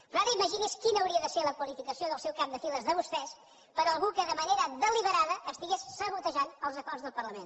però ara imagini’s quina hauria de ser la qualificació del seu cap de files de vostès per a algú que de manera deliberada estigués sabotejant els acords del parlament